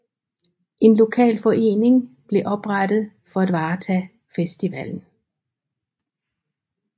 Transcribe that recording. En lokal forening blev oprettet for at varetage festivallen